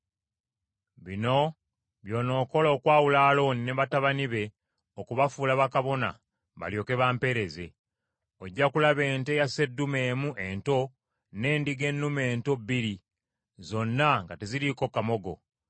“Bino by’onookola okwawula Alooni ne batabani be okubafuula bakabona balyoke bampeereze. Ojja kulaba ente ya seddume emu ento, n’endiga ennume ento bbiri, zonna nga teziriiko kamogo.